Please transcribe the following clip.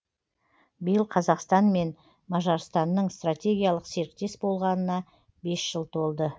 биыл қазақстан мен мажарстанның стратегиялық серіктес болғанына бес жыл толды